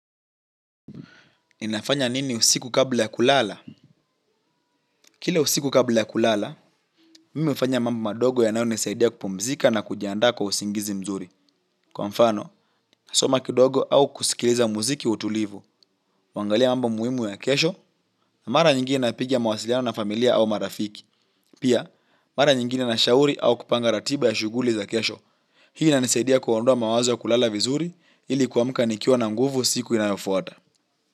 Ninafanya nini usiku kabla ya kulala? Kila usiku kabla ya kulala, mimi hufanya mambo madogo yanayonisaidia kupumzika na kujiandaa kwa usingizi mzuri. Kwa mfano kusoma au kusikiliza muziki wa utulibu kuangalia mambo muhimu ya kesho na mara nyingine napiga mawasiliano na familia au marafiki. Pia, mara nyingine nashauri au kupanga ratiba ya shughuli za kesho. Hii inanisaidia kuondua mawazo ya kulala vizuri, ili kuamka nikiwa na nguvu siku inayofuata.